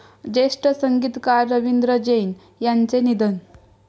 ज्येष्ठ संगीतकार रवींद्र जैन यांचं निधन